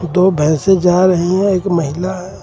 दो भैंसे जा रही है एक महिला है.